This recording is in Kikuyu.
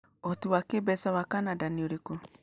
Ũhoti wa kĩĩmbeca wa Canada nĩ ũrĩkũ?